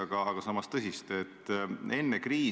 Ma ei tea, kas see tunnel siis on või ei ole, aga ütleme, et on.